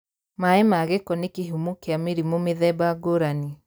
Maai ma gĩko nĩ kĩhumo kĩa mĩrimũ mĩthemba ngũrani